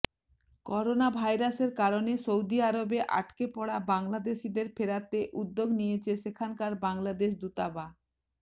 করোনাভাইরাসের কারণে সৌদি আরবে আটকে পড়া বাংলাদেশিদের ফেরাতে উদ্যোগ নিয়েছে সেখানকার বাংলাদেশ দূতাবা